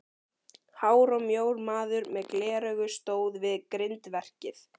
Hár og mjór maður með gleraugu stóð við grindverkið.